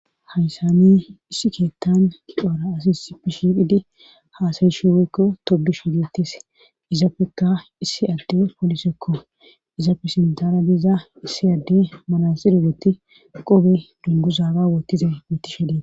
hayssani issi keettan coara asisipe shiqhidi haasayishi weykko tobi shigeetes izappekka issi adde polisekko izafe sindara diza issi adde manasiri woti qobe dungu zaaba wottize wotishedee